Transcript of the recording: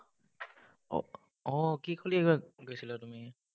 আহ কি খেলিব, গৈছিলা তুমি?